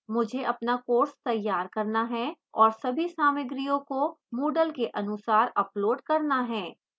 मुझे अपना course तैयार करना है और सभी सामग्रियों को moodle के अनुसार upload करना है